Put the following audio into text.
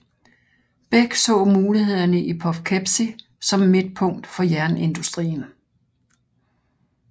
Bech så mulighederne i Poughkeepsie som midtpunkt for jernindustrien